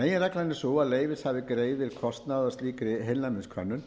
meginreglan er sú að leyfishafi greiði kostnað af slíkri heilnæmiskönnun en